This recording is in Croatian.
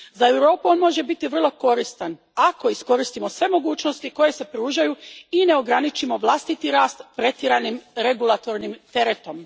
Za Europu on može biti vrlo koristan ako iskoristimo sve mogućnosti koje se pružaju i ne ograničimo vlastiti rast pretjeranim regulatornim teretom.